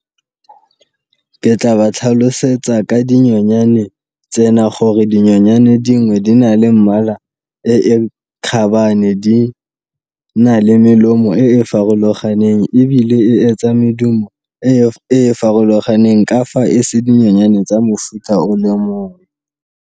Ke tla ba tlhalosetsa ka dinyonyane tsena gore dinyonyane dingwe di na le mmala e e kgabane, di na le melemo e e farologaneng, ebile e etsa medumo e e farologaneng ka fa e se dinyonyane tsa mofuta o le mongwe.